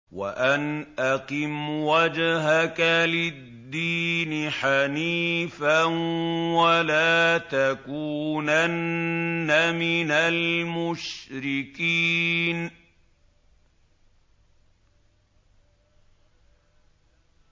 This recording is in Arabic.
وَأَنْ أَقِمْ وَجْهَكَ لِلدِّينِ حَنِيفًا وَلَا تَكُونَنَّ مِنَ الْمُشْرِكِينَ